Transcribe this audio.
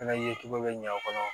Fɛnɛ ye cogo be ɲan aw kɔnɔ